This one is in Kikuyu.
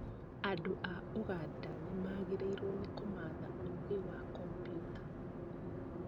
Andũ a ũganda nĩmagĩrĩirwo nĩ kũmatha ũgĩ wa komputa